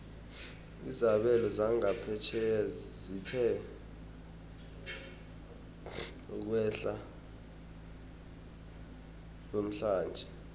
izabelo zangaphetjheya zithe ukwehla namhlanje